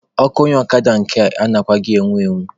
Ọkụ onye ọkada nke a anaghịkwa enwu enwu.